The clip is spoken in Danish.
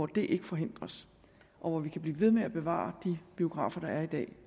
det ikke forhindres og hvor vi kan blive ved med at bevare de biografer der i dag